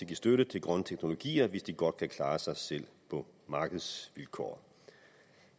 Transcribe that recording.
give støtte til grønne teknologier hvis de godt kan klare sig selv på markedsvilkår